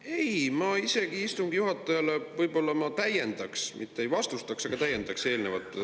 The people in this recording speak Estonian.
Ei, ma isegi võib-olla täiendaks, mitte ei vastustaks, vaid täiendaks eelnevat.